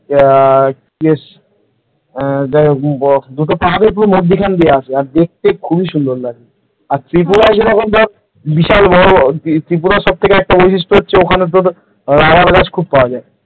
ইয়া কি বেশ যাইহোক দুটো পাহাড়ের পুরো মধ্যিখান দিয়ে আসে, আর দেখতে খুব খুবই সুন্দর লাগে। আর ত্রিপুরার যেরকম ধর বিশাল বড় ত্রিপুরা সবথেকে একটা বৈশিষ্ট্য হচ্ছে ওখানে তোর আরা গ্লাছ তোর খুব পাওয়া যায়।